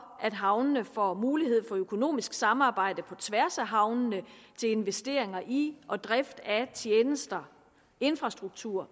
at havnene får mulighed for økonomisk samarbejde på tværs af havnene til investeringer i og drift af tjenester infrastruktur